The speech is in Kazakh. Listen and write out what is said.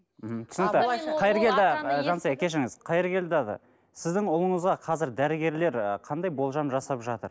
мхм түсінікті қайыргелді жансая кешіріңіз қайыргелді аға сіздің ұлыңызға қазір дәрігерлер ы қандай болжам жасап жатыр